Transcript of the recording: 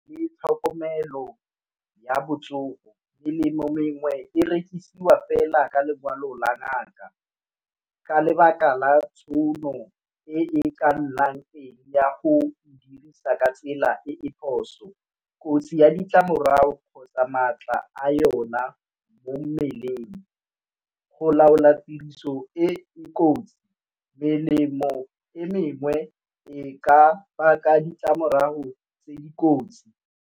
Le tlhokomelo ya botsogo. Melemo mengwe e rekisiwa fela ka lekwalo la ngaka ka lebaka la tšhono e e ka nnang eng ya go dirisa ka tsela e e phoso. Kotsi ya ditlamorao kgotsa maatla a yona mo mmeleng go laola tiriso e e kotsi, melemo e mengwe e ka baka ditlamorago tse di kotsi.